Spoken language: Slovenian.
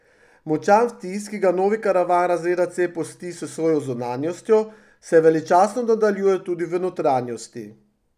Močan vtis, ki ga novi karavan razreda C pusti s svojo zunanjostjo, se veličastno nadaljuje tudi v notranjosti.